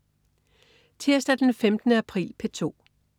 Tirsdag den 15. april - P2: